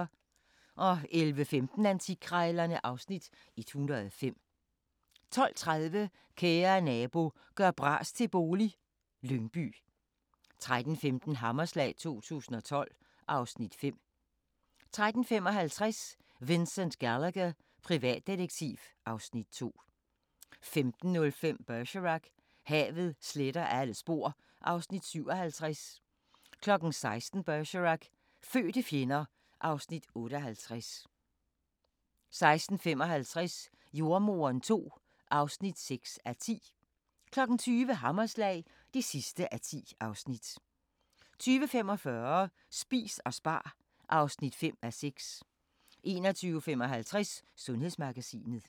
11:15: Antikkrejlerne (Afs. 105) 12:30: Kære nabo – gør bras til bolig - Lyngby 13:15: Hammerslag 2012 (Afs. 5) 13:55: Vincent Gallagher, privatdetektiv (Afs. 2) 15:05: Bergerac: Havet sletter alle spor (Afs. 57) 16:00: Bergerac: Fødte fjender (Afs. 58) 16:55: Jordemoderen II (6:10) 20:00: Hammerslag (10:10) 20:45: Spis og spar (5:6) 21:55: Sundhedsmagasinet